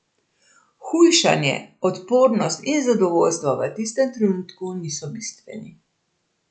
Hujšanje, odpornost in zadovoljstvo v tistem trenutku niso bistveni.